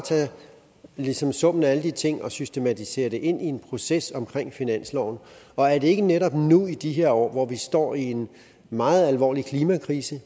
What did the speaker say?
ligesom tage summen af alle de ting og systematisere det ind i en proces omkring finansloven og er det ikke netop nu i de her år hvor vi står i en meget alvorlig klimakrise